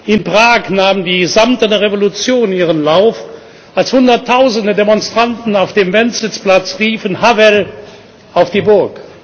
In Prag nahm die Samtene Revolution ihren Lauf, als Hunderttausende Demonstranten auf dem Wenzelsplatz riefen Havel auf die Burg!